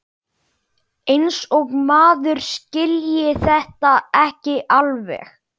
Eins og maður skilji þetta ekki alveg!